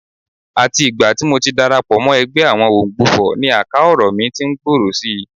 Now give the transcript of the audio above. Àti ìgbà tí mo ti darapọ̀ mọ́ ẹgbẹ́ àwọn Òǹgbufọ̀ ni àká ọ̀rọ̀ mí tí ń gbòòrò si